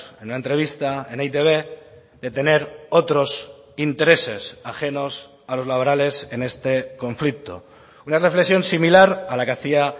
en una entrevista en eitb de tener otros intereses ajenos a los laborales en este conflicto una reflexión similar a la que hacía